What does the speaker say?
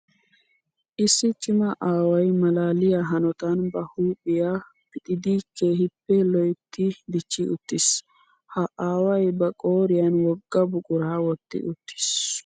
Issi cima aaway maalaliya hanotan ba huuphiya pixxiddi keehippe loytti dichi uttis. Ha aaway ba qooriyan wogaa buqura wotti uttiis.